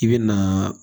I bɛ naaa